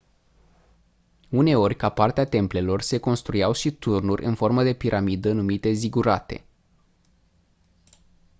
uneori ca parte a templelor se construiau și turnuri în formă de piramidă numite zigurate